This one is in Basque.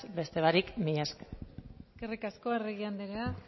beste barik mila esker eskerrik asko arregi andrea